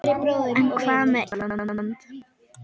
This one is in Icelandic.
En hvað með Ísland?